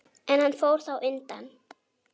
En hann fór þá undan.